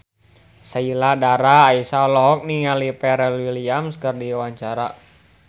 Sheila Dara Aisha olohok ningali Pharrell Williams keur diwawancara